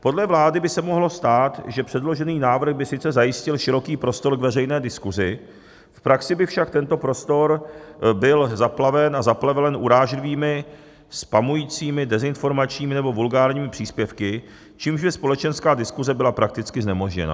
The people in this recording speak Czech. Podle vlády by se mohlo stát, že předložený návrh by sice zajistil široký prostor k veřejné diskusi, v praxi by však tento prostor byl zaplaven a zaplevelen urážlivými, spamujícími, dezinformačními nebo vulgárními příspěvky, čímž by společenská diskuse byla prakticky znemožněna.